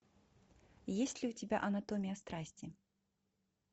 есть ли у тебя анатомия страсти